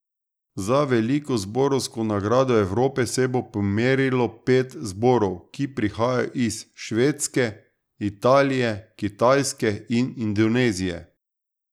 Za veliko zborovsko nagrado Evrope se bo pomerilo pet zborov, ki prihajajo iz Švedske, Italije, Kitajske in Indonezije.